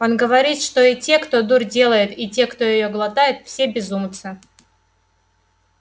он говорит что и те кто дурь делает и те кто её глотает все безумцы